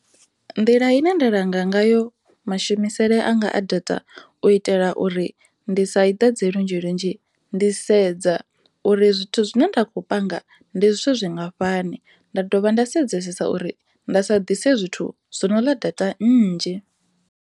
Nḓila ine nda langa ngayo mashumisele anga a data u itela uri ndi sa i ḓadze lunzhi lunzhi ndi sedza uri zwithu zwine nda kho panga ndi zwithu zwingafhani nda dovha nda sedzesesa uri nda sa ḓise zwithu zwo no ḽa data nnzhi.